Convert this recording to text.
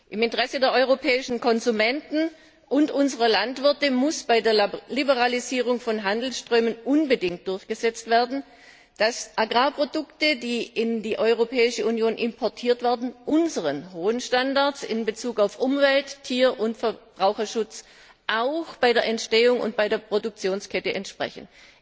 Im Interesse der europäischen Konsumenten und unserer Landwirte muss bei der Liberalisierung von Handelsströmen unbedingt durchgesetzt werden, dass Agrarprodukte, die in die Europäische Union importiert werden, unseren hohen Standards in Bezug auf Umwelt Tier und Verbraucherschutz auch bei der Entstehung und bei der Produktionskette entsprechen.